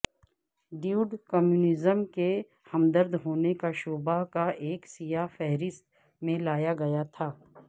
David communism کے ہمدرد ہونے کا شبہ کا ایک سیاہ فہرست میں لایا گیا تھا